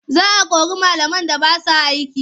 Za a kori malaman da ba sa aiki.